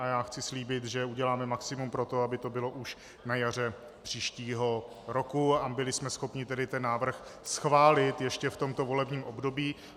A já chci slíbit, že uděláme maximum pro to, aby to bylo už na jaře příštího roku a byli jsme schopni tedy ten návrh schválit ještě v tomto volebním období.